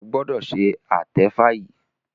o gbọdọ ṣe atefa yí!